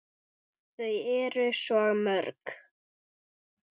Eyþór: Þau eru svo mörg.